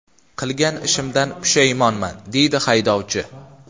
Qilgan ishimdan pushaymonman”, – deydi haydovchi.